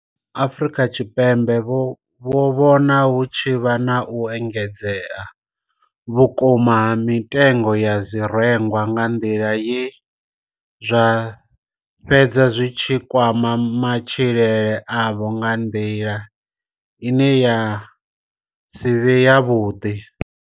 Afrika Tshipembe vho vhona hu tshi vha na u engedzea vhukuma ha mitengo ya zwirengwa nga nḓila ye zwa fhedza zwi tshi kwama matshilele avho nga nḓila ine ya si vhe yavhuḓi.